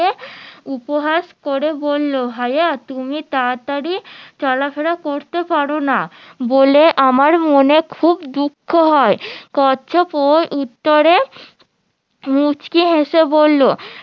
উপহাস করে বললো ভাইয়া তুমি তাড়াতাড়ি চলাফেরা করতে পারো না বলে আমার মনে খুব দুঃখ হয় কচ্ছপ ওর উত্তরে মুসকি হেসে বললো